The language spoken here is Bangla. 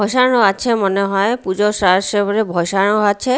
বসানো আছে মনে হয় পূজোর বসানো আছে।